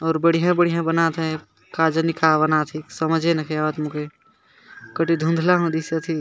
और बढ़िया-बढ़िया बनत है का जनि बनत हे समझ में नखे आवत मोके कटि धुंधला --